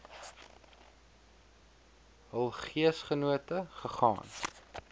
hul geesgenote gegaan